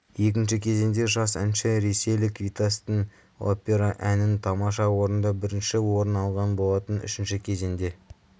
екінші кезеңде жас әнші ресейлік витастың опера әнін тамаша орындап бірінші орын алған болатын үшінші кезеңде